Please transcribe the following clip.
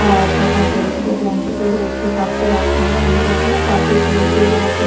আর দোকান রয়েছে ব্ল্যাঙ্কেট -ও রয়েছে পাশে রাখানো অনেক রকমের পাপোশ রয়েছে এবং --